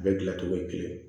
A bɛ gilan cogo ye kelen ye